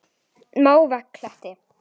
Mávakletti